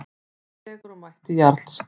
Dregur úr mætti Jarls